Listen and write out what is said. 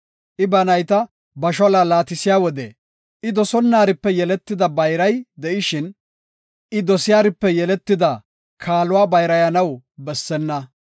I ba nayta ba shaluwa laatisiya wode, I dosonnaripe yeletida bayray de7ishin, I dosiyaripe yeletida kaaluwa bayrayanaw bessenna.